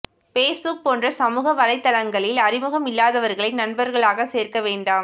Facebook போன்ற சமூக வலைத்தளங்களில் அறிமுகம் இல்லாதவர்களை நண்பர்களாக சேர்க்க வேண்டாம்